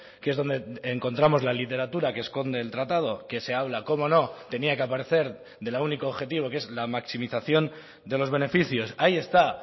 que es donde encontramos la literatura que esconde el tratado que se habla cómo no tenía que aparecer del único objetivo que es la maximización de los beneficios ahí está